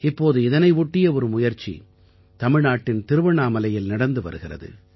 இப்போது இதனை ஒட்டிய ஒரு முயற்சி தமிழ்நாட்டின் திருவண்ணாமலையில் நடந்து வருகிறது